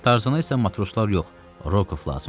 Tarzana isə matroslar yox, Rokov lazım idi.